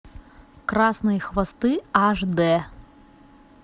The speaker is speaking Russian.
красные хвосты аш д